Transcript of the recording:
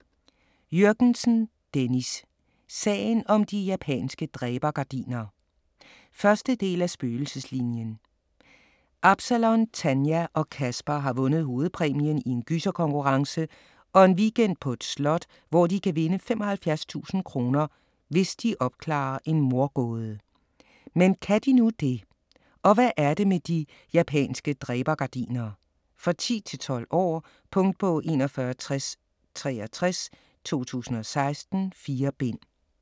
Jürgensen, Dennis: Sagen om de japanske dræbergardiner 1. del af Spøgelseslinien. Absalon, Tanja og Kasper har vundet hovedpræmien i en gyserkonkurrence og en weekend på et slot, hvor de kan vinde 75.000 kr. hvis de opklarer en mordgåde. Men kan de nu det? Og hvad er det med de japanske dræbergardiner? For 10-12 år. Punktbog 416063 2016. 4 bind.